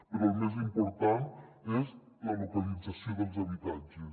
però el més important és la localització dels habitatges